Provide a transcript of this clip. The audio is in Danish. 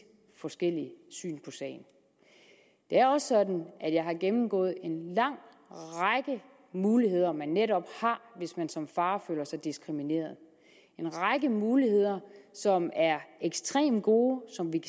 forskellige syn sagen det er også sådan at jeg har gennemgået en lang række muligheder man netop har hvis man som far føler sig diskrimineret en række muligheder som er ekstremt gode og som vi